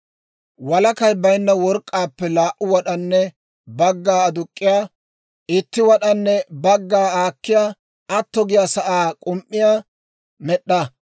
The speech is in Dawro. «Walakay baynna work'k'aappe laa"u wad'anne bagga aduk'k'iyaa, itti wad'anne bagga aakkiyaa atto giyaa sa'aa k'um"iyaa med'd'a.